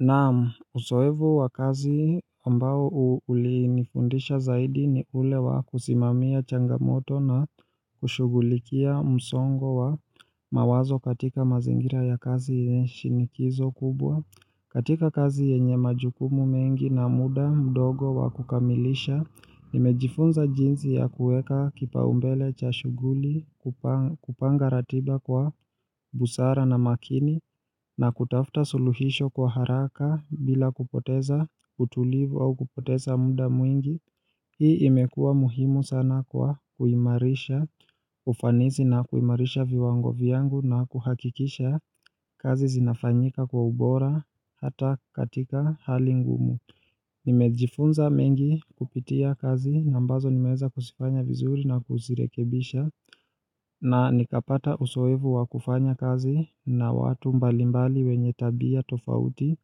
Naam uzoefu wa kazi ambao ulinifundisha zaidi ni ule wa kusimamia changamoto na kushugulikia msongo wa mawazo katika mazingira ya kazi shinikizo kubwa katika kazi yenye majukumu mengi na muda mdogo wa kukamilisha, nimejifunza jinsi ya kuweka kipaumbele cha shughuli kupanga ratiba kwa busara na makini na kutafuta suluhisho kwa haraka bila kupoteza utulivu au kupoteza muda mwingi. Hii imekuwa muhimu sana kwa kuimarisha, ufanizi na kuimarisha viwango vyangu na kuhakikisha kazi zinafanyika kwa ubora hata katika hali ngumu. Nimejifunza mengi kupitia kazi ambazo nimeweza kuzifanya vizuri na kuzirekebisha. Na nikapata uzoefu wa kufanya kazi na watu mbalimbali wenye tabia tofauti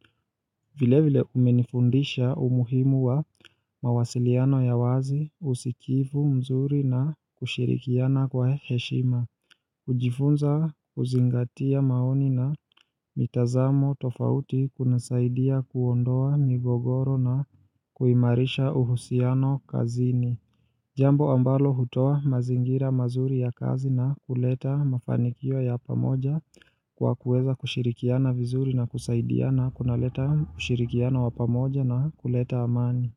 vile vile umenifundisha umuhimu wa mawasiliano ya wazi usikivu mzuri na kushirikiana kwa heshima kujifunza kuzingatia maoni na mitazamo tofauti kunasaidia kuondoa migogoro na kuimarisha uhusiano kazini Jambo ambalo hutoa mazingira mazuri ya kazi na kuleta mafanikio ya pamoja kwa kuweza kushirikiana vizuri na kusaidiana kunaleta ushirikiano wa pamoja na kuleta amani.